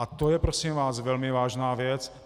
A to je, prosím vás, velmi vážná věc.